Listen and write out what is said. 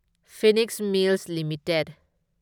Phoenix mills limited